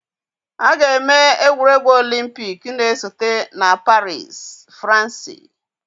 A ga-eme egwuregwu Olympikii na-esote na Paris, Fransi.